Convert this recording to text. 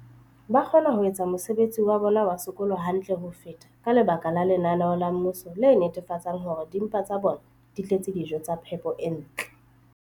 ba kgona ho etsa mosebetsi wa bona wa sekolo hantle ho feta ka lebaka la lenaneo la mmuso le netefatsang hore dimpa tsa bona di tletse dijo tsa phepo e ntle.